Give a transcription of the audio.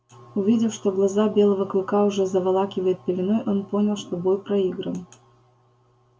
увидев что глаза белого клыка уже заволакивает пеленой он понял что бой проигран